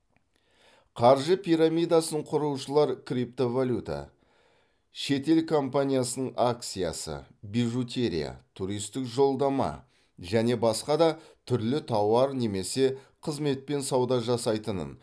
қаржы пирамидасын құрушылар криптовалюта шетел компаниясының акциясы бижутерия туристік жолдама және басқа да түрлі тауар немесе қызметпен сауда жасайтынын